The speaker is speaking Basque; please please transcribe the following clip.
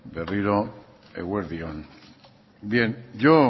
berriro eguerdi on yo